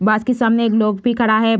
बस के सामने एक लोग भी खड़ा है ।